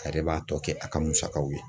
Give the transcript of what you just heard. A yɛrɛ b'a tɔ kɛ a ka musakaw ye.